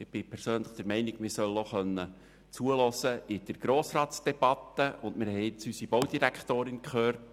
Ich bin der Meinung, man soll auch während der Grossratsdebatte zuhören können, und wir haben nun unsere Baudirektorin gehört.